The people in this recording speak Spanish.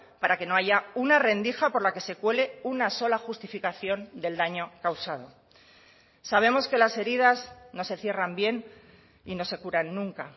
para que no haya una rendija por la que se cuele una sola justificación del daño causado sabemos que las heridas no se cierran bien y no se curan nunca